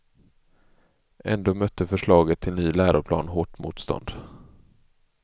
Ändå mötte förslaget till ny läroplan hårt motstånd.